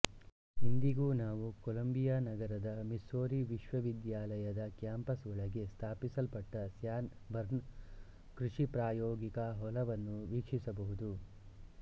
ಇಂದಿಗೂ ನಾವು ಕೊಲಂಬಿಯಾನಗರದ ಮಿಸ್ಸೂರಿ ವಿಶ್ವವಿದ್ಯಾಲಯದ ಕ್ಯಾಂಪಸ್ ಒಳಗೆ ಸ್ಥಾಪಿಸಲ್ಪಟ್ಟ ಸ್ಯಾನ್ ಬರ್ನ್ ಕೃಷಿ ಪ್ರಾಯೋಗಿಕಾ ಹೊಲ ವನ್ನು ವೀಕ್ಷಿಸಬಹುದು